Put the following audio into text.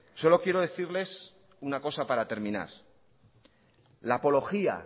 solo quiero decirles una cosa para terminar